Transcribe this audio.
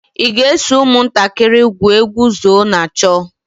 ị ga-eso ụmụntakịrị egwu egwu zóó na chó?